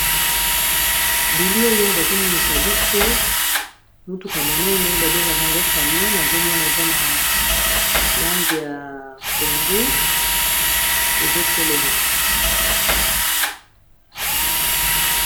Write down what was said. Bili oyo bazomonisa biso mutuka monene babengaka yango camion azomona eza na langi ya pondu ezotelema.